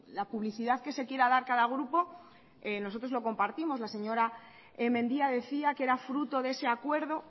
la publicidad que se quiera dar cada grupo nosotros lo compartimos la señora mendia decía que era fruto de ese acuerdo